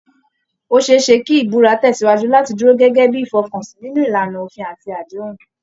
Ó ṣe é ṣe kí ìbúra tẹ̀sìwájú láti dúró gẹ́gẹ́ bí ìfọkànsìn nínú ìlànà òfin àti àdéhùn